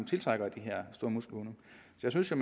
jeg synes jo